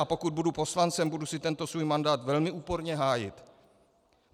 A pokud budu poslancem, budu si tento svůj mandát velmi úporně hájit.